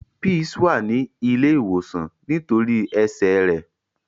Peace wa ni ile ìwòsàn nitori ẹsẹ rẹ.